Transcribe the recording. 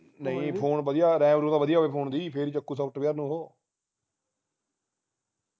ਨਹੀਂ phone ram ਵਧੀਆ ਹੋਵੇ phone ਦੀ ਫੇਰ ਹੀ ਚੱਕੁ software ਨੂੰ ਉਹ